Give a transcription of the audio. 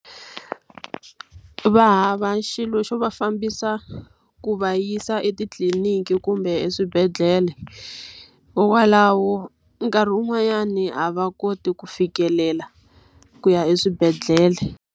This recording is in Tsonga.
Va hava xilo xo va fambisa ku va yisa etitliniki kumbe eswibedhlele. Hikwalaho nkarhi wun'wanyani a va koti ku fikelela ku ya eswibedhlele.